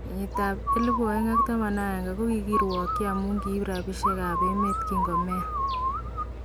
Kenyit ab 2011 kokirwokyi amun kiib rapishek kap emet kinko Meya.